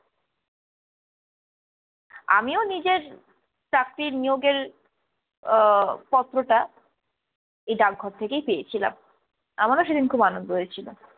আমিও নিজের চাকরির নিয়োগের আহ পত্রটা এই ডাকঘর থেকেই পেয়েছিলাম, আমারও সেদিন খুব আনন্দ হয়েছিল।